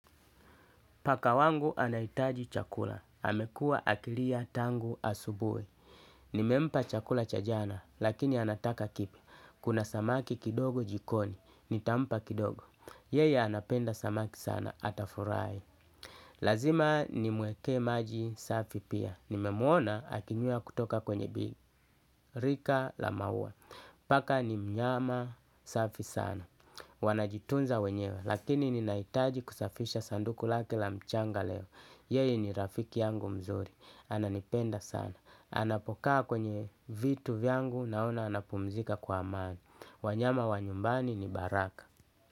Paka wangu anahitaji chakula. Amekua akilia tangu asubuhi. Nimempa chakula chaj ana, lakini anataka kipya. Kuna samaki kidogo jikoni. Nitampa kidogo. Yeye anapenda samaki sana. Atafurahi. Lazima ni mwekee maji safi pia nime mwona akinywea kutoka kwenye birika la maua paka ni mnyama safi sana. Wanajitunza wenyewe. Lakini ninahitaji kusafisha sanduku lake la mchanga leo. Yeye ni rafiki yangu mzuri ananipenda sana anapokaa kwenye vitu vyangu naona anapumzika kwa amani. Wanyama wa nyumbani ni baraka.